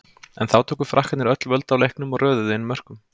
En þá tóku Frakkarnir öll völd á leiknum og röðuðu inn mörkum.